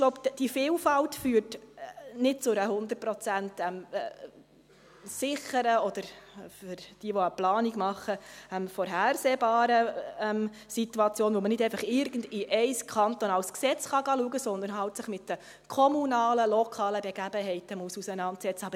Die Vielfalt führt nicht zu einer 100-prozentigen sicheren oder, für jene, die die Planung machen, vorhersehbaren Situation, für welche man nicht einfach in irgendein kantonales Gesetz schauen kann, sondern sich mit den kommunalen, lokalen Gegebenheiten auseinandersetzen muss.